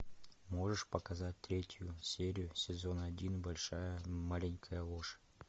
можешь показать третью серию сезона один большая маленькая ложь